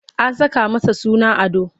An saka masa suna Ado.